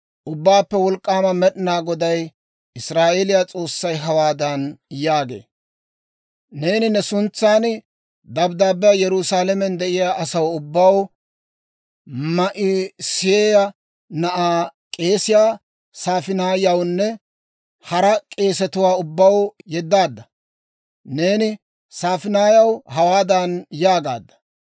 «Ubbaappe Wolk'k'aama Med'inaa Goday, Israa'eeliyaa S'oossay hawaadan yaagee; ‹Neeni ne suntsan dabddaabbiyaa Yerusaalamen de'iyaa asaw ubbaw, Ma'iseeya na'aa k'eesiyaa S'afaaniyaawunne hara k'eesetuwaa ubbaw yeddaadda. Neeni S'afaaniyaa hawaadan yaagaadda;